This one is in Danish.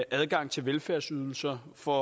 adgang til velfærdsydelser for